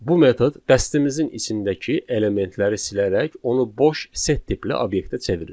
Bu metod dəstimizin içindəki elementləri silərək onu boş set tipli obyektə çevirir.